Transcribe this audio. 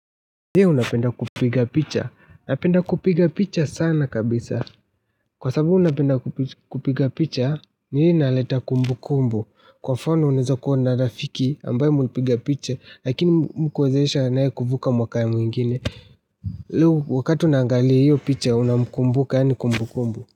Je unapenda kupiga picha? Napenda kupiga picha sana kabisa. Kwa sababu napenda kupiga picha, ni ile inaleta kumbukumbu. Kwa mfano unaweza kuwa na rafiki ambaye mlipiga picha, lakini mkuwezesha naye kuvuka mwaka mwingine. Hio wakati unaangalia hiyo picha unamkumbuka yaani kumbukumbu.